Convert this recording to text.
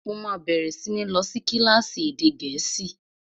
Mo máa bẹ̀rẹ̀ sí ní lọ sí kílásì èdè gẹ̀ẹ́sì